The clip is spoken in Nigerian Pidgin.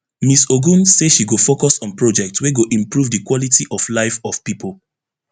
miss ogun say she go focus on project wey go improve di quality of life of pipo